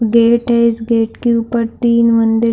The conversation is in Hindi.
गेट है इस गेट के उपर तीन मंदिर --